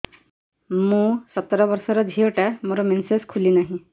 ମୁ ସତର ବର୍ଷର ଝିଅ ଟା ମୋର ମେନ୍ସେସ ଖୁଲି ନାହିଁ